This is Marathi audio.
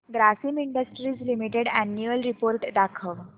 Grasim industries limited annual report दाखव